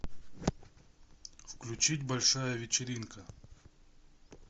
включить большая вечеринка